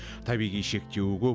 табиғи шектеуі көп